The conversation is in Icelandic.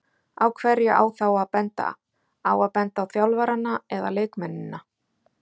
Á hverja á þá að benda, á að benda á þjálfarana eða leikmennina?